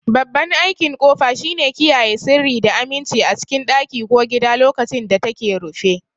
Babban aikin kofa shine kiyaye sirri da aminci a cikin ɗaki ko gida lokacin da take rufe.